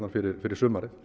fyrir fyrir sumarið